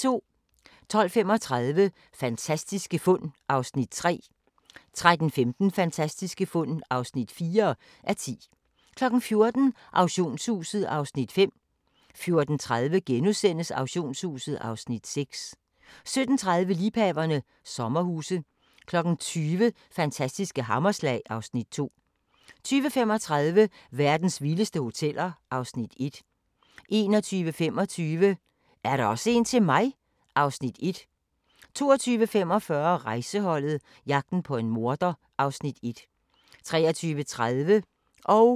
12:35: Fantastiske fund (3:10) 13:15: Fantastiske fund (4:10) 14:00: Auktionshuset (Afs. 5) 14:30: Auktionshuset (Afs. 6)* 17:30: Liebhaverne - sommerhuse 20:00: Fantastiske hammerslag (Afs. 2) 20:35: Verdens vildeste hoteller (Afs. 1) 21:25: Er der også en til mig? (Afs. 1) 22:45: Rejseholdet - jagten på en morder (Afs. 1) 23:30: Station 2: Politirapporten